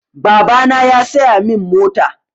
Babana ya saya min mota.